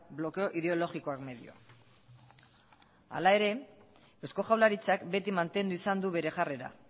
blokeo ideologikoak medio hala ere eusko jaurlaritzak beti mantendu izan du bere jarrera